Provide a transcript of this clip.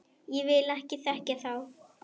Ég vil ekki þekkja þá.